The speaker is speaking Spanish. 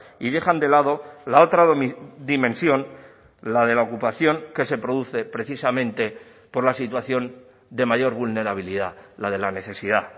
y dejan de lado la otra dimensión la de la ocupación que se produce precisamente por la situación de mayor vulnerabilidad la de la necesidad